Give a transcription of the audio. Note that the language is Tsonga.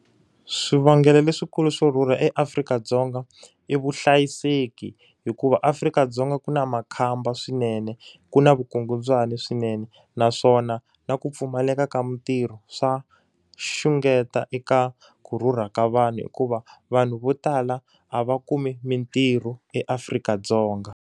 Swivangelo leswikulu swo rhurha eAfrika-Dzonga i vuhlayiseki. Hikuva Afrika-Dzonga ku na makhamba swinene, ku na vukungundzwani swinene. Naswona na ku pfumaleka ka mintirho swa xungeta eka ku rhurha ka vanhu hikuva, vanhu vo tala a va kumi mintirho eAfrika-Dzonga.